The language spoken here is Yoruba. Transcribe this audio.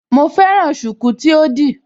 Mo fẹ́ràn ṣùkú tí ó di